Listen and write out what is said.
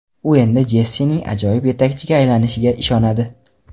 U Endi Jessining ajoyib yetakchiga aylanishiga ishonadi.